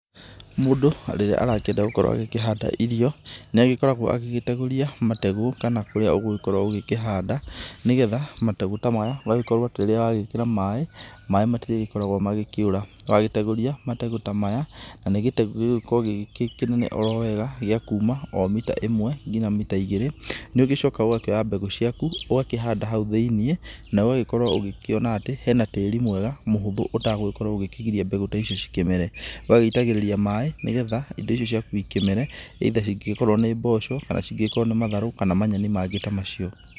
Mũndũ rĩrĩa arakĩenda gũkorwo akĩhanda irio nĩ agĩkoragwo agĩtegũria mategũ kana kũría ũgũkorwo ũkĩhanda nĩgetha mategũ ta maya ũgagĩkorwo atĩ rĩrĩa wagĩkĩra maĩ maĩ matirĩgĩkoragwo magĩkĩũra, wategũria mategũ ta maya na nĩ gĩtegũ gĩgĩkoragwo gĩkĩnene o wega gĩa kuma o mita ĩmwe nginya mita igĩrĩ nĩ ũgĩcokaga ũgakĩoya mbegũ ciaku ũgakĩhanda haũ thĩinĩ na ũgagĩkorwo ũgĩkiona atĩ hena tĩri mwega mũhũthũ ũtagũgĩkorwo ũkĩgiria indo ici cikĩmere ũgagĩitagĩrĩria maĩ nĩgetha indo icio ciaku ikĩmere either ingĩkorwo nĩ mboco kana cingĩkorwo nĩ matharũ kana manyeni mangĩ ta macio.